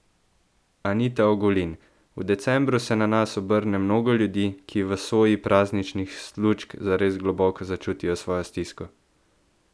Anita Ogulin: "V decembru se na nas obrne mnogo ljudi, ki v soji prazničnih lučk zares globoko začutijo svojo stisko.